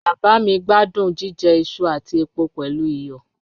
Baba mi gbadun jijẹ iṣu ati epo pẹlu iyọ